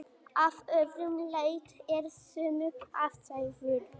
Að öðru leyti eru sömu aðstæður.